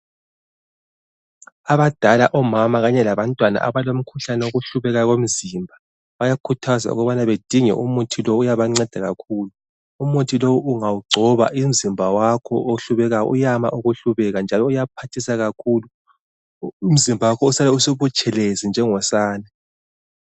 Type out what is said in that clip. Abadala omama kanye labantwana abalomkhuhlane wokuhlubeka komzimba bayakhuthazwa ukubana badinge umuthi lo uyabanceda kakhulu. Umuthi lo ungawugcoba, umzimba wakho ohlubekayo uyama ukuhlubeka njalo uyaphathisa kakhulu, umzimba wakho usale usubutshelezi njengosane.